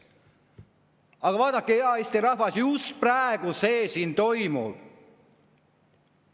Aga vaadake, hea Eesti rahvas, just praegu see siin toimub.